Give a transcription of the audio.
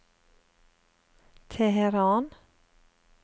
Teheran